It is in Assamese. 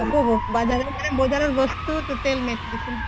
নকʼব বাজাৰৰ পৰা বাজাৰৰ বস্তু total medicine